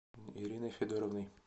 ириной федоровной